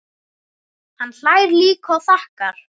Hann hlær líka og þakkar.